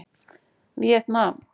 Víetnam